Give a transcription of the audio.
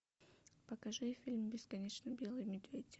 покажи фильм бесконечно белый медведь